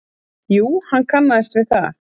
Jú, hann kannaðist við það.